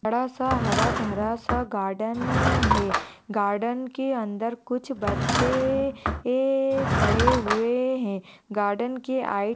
बड़ासा हरा भरा सा गार्डन है अह गार्डन के अंदर कुछ बच्चे ए ए खड़े हुए हैं। गार्डन के आय--